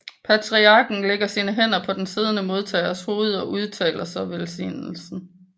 Patriarken lægger sine hænder på den siddende modtagers hoved og udtaler så velsignelsen